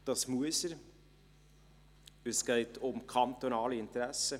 das muss er, es geht um kantonale Interessen.